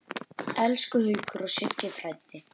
Elsku Haukur og Siggi frændi.